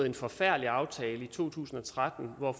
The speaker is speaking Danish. en forfærdelig aftale i to tusind og tretten hvor